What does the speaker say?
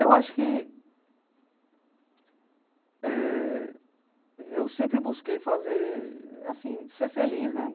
Eu acho que eh... Eu sempre busquei fazer, assim, ser feliz, né?